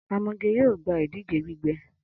Amoge yoo gba idije gbígbẹ